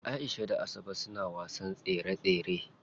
Aisha da Asabe suna wasan tsere tsere.